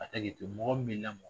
A tɛ ni tɔ mɔgɔ minɛ